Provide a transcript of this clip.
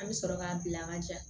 An bɛ sɔrɔ k'a bila ka ja